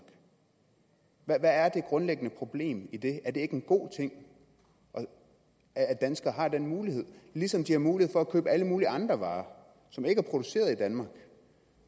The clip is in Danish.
hvad er det grundlæggende problem i det er det ikke en god ting at danskere har den mulighed ligesom de har mulighed for at købe alle mulige andre varer som ikke er produceret i danmark